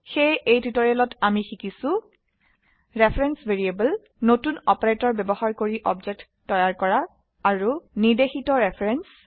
সেয়ে এই টিউটৰিয়েলত আমি শিকিছো ৰেফাৰেন্স ভ্যাৰিয়েবল নতুন অপাৰেটৰ ব্যবহাৰ কৰি অবজেক্ট তৈয়াৰ আৰু নিৰ্দেশিত ৰেফাৰেন্স